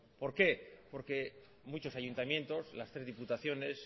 por qué porque muchos ayuntamientos las tres diputaciones